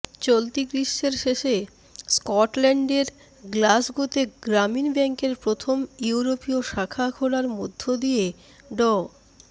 চলতি গ্রীষ্মের শেষে স্কটল্যান্ডের গ্লাসগোতে গ্রামীণ ব্যাংকের প্রথম ইউরোপীয় শাখা খোলার মধ্য দিয়ে ড